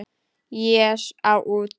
Ég á út, sagði Björn.